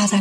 پیش از